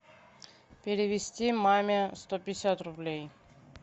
перевести маме сто пятьдесят рублей